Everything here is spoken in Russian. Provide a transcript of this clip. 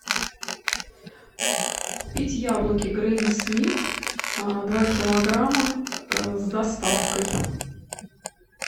купить яблоки гренни смит два килограмма с доставкой